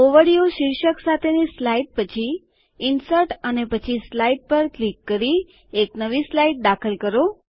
overview શીર્ષક સાથેની slide પછી ઇન્સર્ટ અને પછી સ્લાઇડ પર ક્લિક કરી એક નવી સ્લાઇડ દાખલ કરો